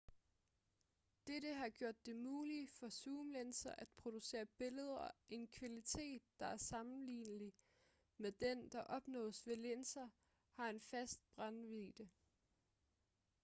dette har gjort det muligt for zoomlinser at producere billeder af en kvalitet der er sammenlignelig med den der opnås ved linser der har en fast brændvidde